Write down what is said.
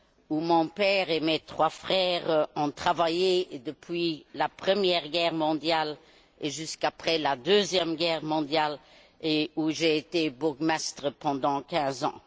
où mon père et mes trois frères ont travaillé depuis la Première Guerre mondiale et jusqu'après la Deuxième Guerre mondiale, et dont j'ai été bourgmestre pendant quinze ans.